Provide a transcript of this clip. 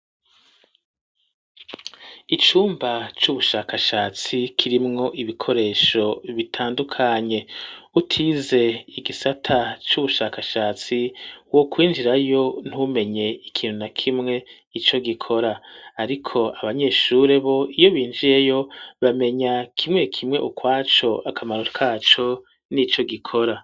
Icumba c'ubushakashatsi kirimwo ibikoresho bitandukanye utize igisata c'ubushakashatsi wo kwinjirayo ntumenye ikintu na kimwe ico gikora, ariko abanyeshure bo iyo binjiyeyo bamenya kimwe re kimwe ukwaco akamaro kaco n'ico gikora.